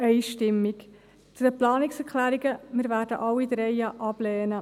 Zu den Planungserklärungen: Wir werden alle drei ablehnen.